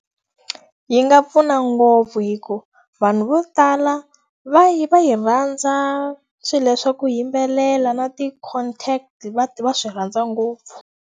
Yi nga pfuna ngopfu hikuva vanhu vo tala va yi va yi rhandza swilo swa ku yimbelela na ti-content, va va swi rhandza ngopfu.